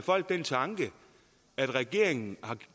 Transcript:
folk den tanke at regeringen har